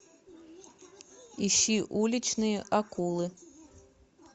ищи уличные акулы